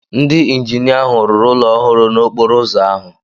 Ndị injinia ahụ rụrụ ụlọ ọrụ ọhụrụ n'okporo ụzọ ahụ